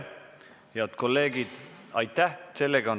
Head kolleegid, aitäh!